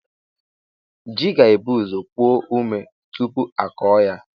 Ji ga-ebu ụzọ puo omé tupu a kụọ ya.